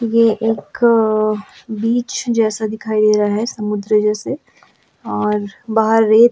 ये एक बीच जैसा दिखाई दे रहा है समुंद्र जैसे और बाहर रेत --